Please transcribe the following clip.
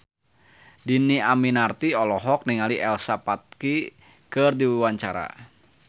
Dhini Aminarti olohok ningali Elsa Pataky keur diwawancara